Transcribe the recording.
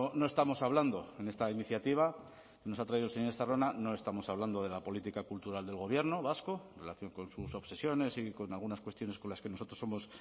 no estamos hablando en esta iniciativa que nos ha traído el señor estarrona no estamos hablando de la política cultural del gobierno vasco en relación con sus obsesiones y con algunas cuestiones con las que nosotros somos